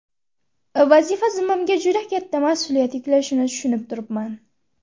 Vazifa zimmamga juda katta mas’uliyat yuklashini tushunib turibman.